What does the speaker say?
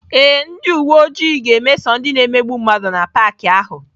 Ee, ndị uwe ojii ga-emeso ndị na-emegbu mmadụ na paakị ahụ.